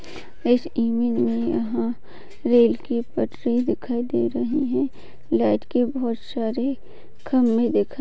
इस इमेज में यहाँ रेल की पटरी दिखाई दे रहे है लाइट के बहुत सारे खम्बे दिख रहे--